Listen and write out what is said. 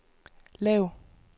lav